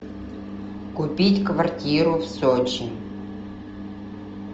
купить квартиру в сочи